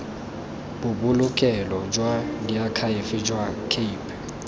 bobolokelo jwa diakhaefe jwa cape